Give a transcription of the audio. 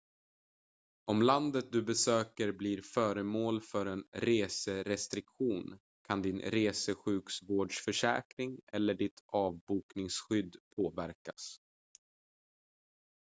om landet du besöker blir föremål för en reserestriktion kan din resesjukvårdsförsäkring eller ditt avbokningsskydd påverkas